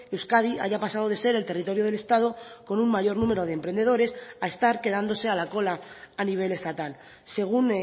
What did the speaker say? euskadi haya pasado de ser el territorio del estado con un mayor número de emprendedores a estar quedándose a la cola a nivel estatal según